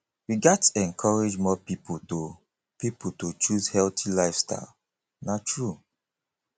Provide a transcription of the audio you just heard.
we gats encourage more pipo to pipo to choose healthy lifestyle na true